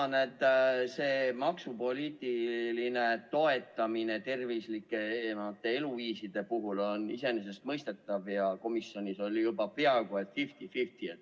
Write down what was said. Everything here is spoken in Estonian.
Ma näen, et see maksupoliitiline toetamine tervislike eluviiside puhul on iseenesestmõistetav, ja komisjonis oli tulemus juba peaaegu fifty : fifty.